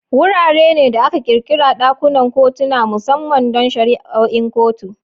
Wurare ne da aka ƙirƙira ɗakunan kotuna musamman don shari'o'in kotu.